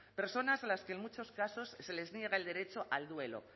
personas a las que en muchos casos se les niega el derecho al duelo